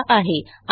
यांनी दिलेला आहे